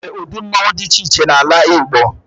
E nwere udi mmọnwụ dị iche iche n'ala Igbo.